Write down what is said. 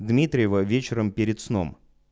дмитриева вечером перед сном